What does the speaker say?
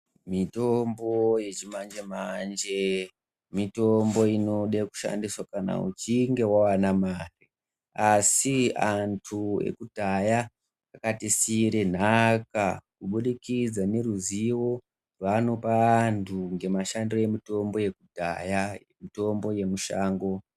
Mitombo yechimanje manje mitombo inode kushandiswa kana uchinge wawane mare asi antu ekudhaya akatisiira nhaka kubudikidza ngeruzivo rwavanopa vanthu ngemashandire emutombo yekudhaya mutombo yemushango.